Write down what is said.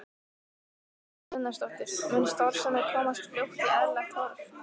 Kristín Ýr Gunnarsdóttir: Mun starfsemin komast fljótt í eðlilegt horf?